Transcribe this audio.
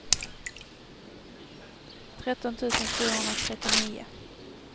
tretton tusen fyrahundratrettionio